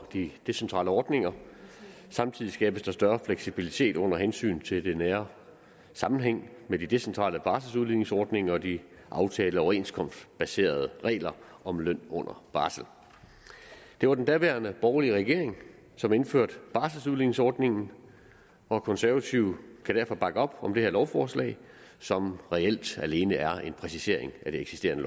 de decentrale ordninger samtidig skabes der større fleksibilitet under hensyn til den nære sammenhæng med de decentrale barseludligningsordninger og de aftalte overenskomstbaserede regler om løn under barsel det var den daværende borgerlige regering som indførte barseludligningsordningen og konservative kan derfor bakke op om det her lovforslag som reelt alene er en præcisering af den eksisterende